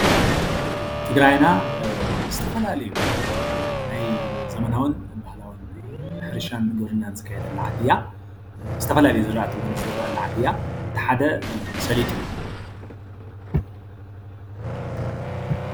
ትግራይና ዝተፈላለዩ ናይ ዘመናውን ባህላውን ሕርሻ ንምውናን ዝካየደላ ዓዲ እያ፡፡ ዝተፈላለዩ ዝራእቲ እውን ዝዝረአላ ዓዲ እያ፡፡ እቲ ሓደ እውን ሰሊጥ እዩ፡፡